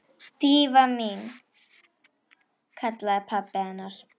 Drífa mín- kallaði pabbi hennar.